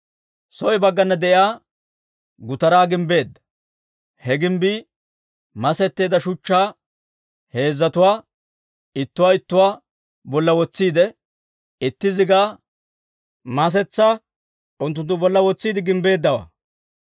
Soo baggana de'iyaa gutaraa gimbbeedda; he gimbbii masetteedda shuchchaa heezzatuwaa, ittuwaa ittuwaa bolla wotsiide, itti zigaa masetsaa unttunttu bolla wotsiide gimbbeeddawaa.